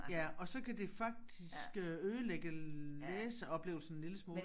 Ja og så kan det faktisk øh ødelægge læseoplevelsen en lille smule